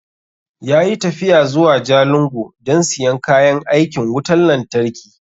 Ya yi tafiya zuwa Jalingo don siyan kayan aikin wutan lantarki